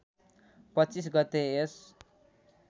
२५ गते यस